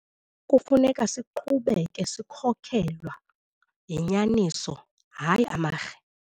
Kufuneka siqhubeke sikhokelwa yinyaniso hayi amarhe.